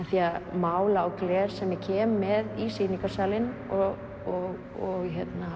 mála á gler sem ég kem með í sýningarsalinn og